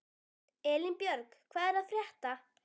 Elínbjörg, hvað er að frétta?